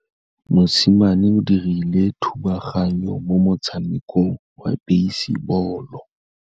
Mosimane o dirile thubaganyô mo motshamekong wa basebôlô.